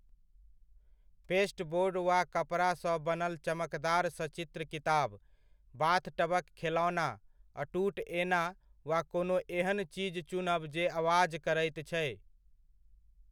Pasteboard वा कपड़ा सँ बनल चमकदार सचित्र किताब, बाथटबक खेलौना, अटूट एना वा कोनो एहन चीज चुनब जे आवाज करैत छै।